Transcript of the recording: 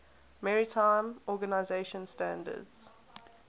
maritime organization standards